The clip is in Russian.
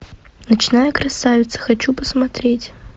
ночная красавица хочу посмотреть